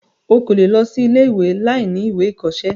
o kò lè lọ sí ilé-ìwé láìní ìwé ìkọsẹ́.